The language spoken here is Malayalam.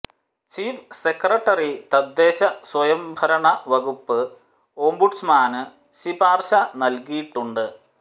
ചീഫ് സെക്രട്ടറി തദ്ദേശ സ്വയംഭരണ വകുപ്പ് ഓംബുഡ്സ്മാന് ശിപാര്ശ നല്കിയിട്ടുണ്ട്